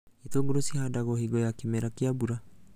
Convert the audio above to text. Itũngũrũ cihandagwo hingo ya kĩmera kĩa mbura